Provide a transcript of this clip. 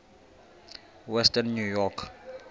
western new york